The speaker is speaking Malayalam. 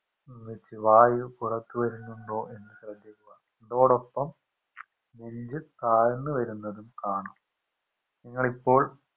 വായു പുറത്തു വരുന്നുണ്ടോ എന്ന് ശ്രെദ്ധിക്കുക ഇതോടൊപ്പം നെഞ്ച് താഴ്ന്ന് വെരുന്നതും കാണാം നിങ്ങളിപ്പോൾ